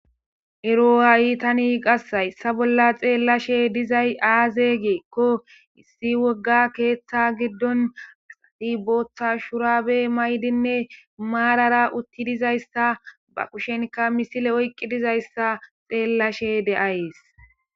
Ero haayi tani qassayssa bolla xeellashe dizay aaze geekko issi wogga keeththa giddon botha shurabey maydinne maarara utti dizayssa ba kushenka misile oyqqi dizayssa xeellashe de7ayees